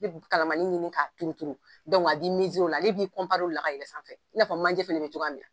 Kalamani ɲini k'a turuturu a bi o la ale b'i o la ka yɛlɛ sanfɛ i n'a fɔ manje fana bɛ cogoya min na.